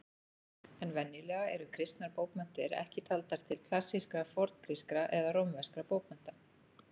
En venjulega eru kristnar bókmenntir ekki taldar til klassískra forngrískra eða rómverskra bókmennta.